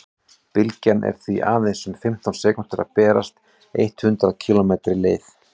bylgjan er því aðeins um fimmtán sekúndur að berast eitt hundruð kílómetri leið